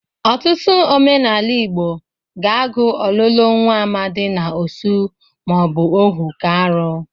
Ọtụtụ omenala Igbo ga-agụ ọlụlụ nwa amadị na osu ma ọ bụ ohu ka arụ.